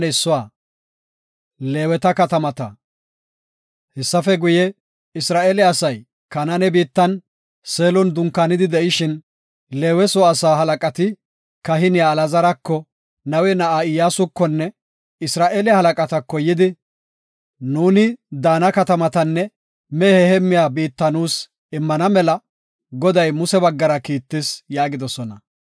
Hessafe guye, Isra7eele asay Kanaane biittan, Seelon dunkaanidi de7ishin, Leewe soo asaa halaqati kahiniya Alaazarako, Nawe na7aa Iyyasukonne Isra7eele halaqatako yidi, “Nuuni daana katamatanne mehe heemmiya biitta nuus immana mela, Goday Muse baggara kiittis” yaagidosona.